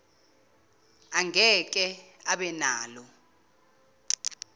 angeke abe nalo